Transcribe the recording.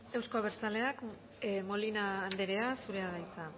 euzko abertzaleak molina anderea zurea da hitza